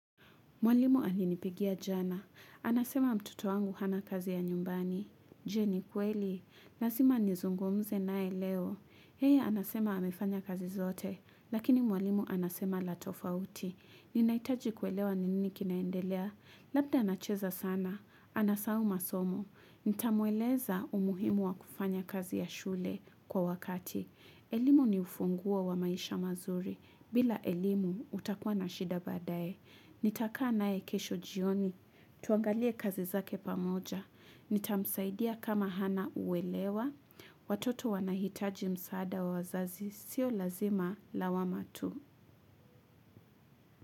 Mwalimu alinipigia jana. Anasema mtoto wangu hana kazi ya nyumbani. Je ni kweli. Nazima nizungumze nae leo. Yeye anasema amefanya kazi zote. Lakini mwalimu anasema la tofauti. Ninaitaji kuelewa nini kinaendelea. Labda anacheza sana. Anasau masomo. Nitamueleza umuhimu wa kufanya kazi ya shule kwa wakati. Elimu ni ufunguo wa maisha mazuri. Bila elimu utakua na shida baadae. Nitakaa nae kesho jioni. Tuangalie kazi zake pamoja. Nitamsaidia kama hana uelewa. Watoto wanahitaji msaada wa wazazi. Sio lazima lawama tu.